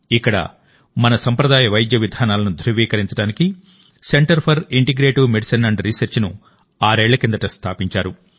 ఇక్కడమన సంప్రదాయ వైద్య విధానాలను ధృవీకరించడానికి centre for integrative medicine and research ను ఆరేళ్ల కిందట స్థాపించారు